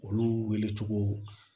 Olu wele cogo